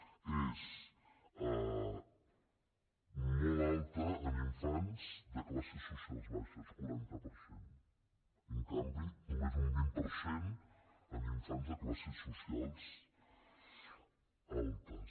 és molt alt en infants de classes socials baixes quaranta per cent en canvi només un vint per cent en infants de classes socials altes